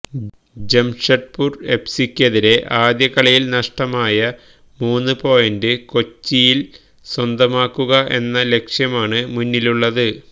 ജംഷഡ്പൂര് എഫ്സിക്കെതിരെ ആദ്യ കളിയില് നഷ്ടമായ മൂന്ന് പോയിന്റ് കൊച്ചിയില് സ്വന്തമാക്കുക എന്ന ലക്ഷ്യമാണ് മുന്നിലുള്ളത്